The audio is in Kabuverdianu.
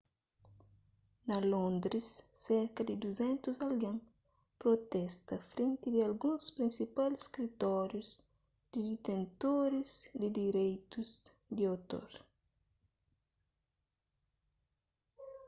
na londres serka di 200 algen protesta frenti di alguns prinsipal skritórius di ditentoris di direitus di otor